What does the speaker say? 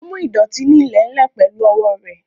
Ó mú ìdọ̀tí ní ilẹ̀ ń lè pẹ̀lú owó rẹ̀